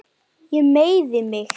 Ég meiði mig.